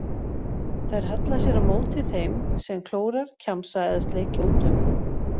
Þær halla sér á móti þeim sem klórar, kjamsa eða sleikja út um.